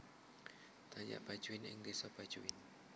Dayak Bajuin ing desa Bajuin